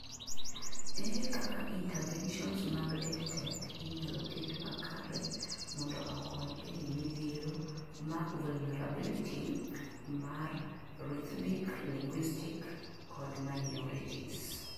ere kaka interventions mag EdTech inyalo ket makare mondo okony ei midhiero mac vulnerability mar rthnic, linguistic kod minorities